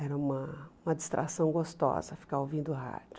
Era uma uma distração gostosa ficar ouvindo rádio.